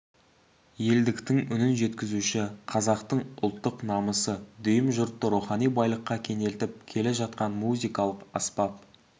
елдіктің үнін жеткізуші қазақтың ұлттық намысы дүйім жұртты рухани байлыққа кенелтіп келе жатқан музыкалық аспап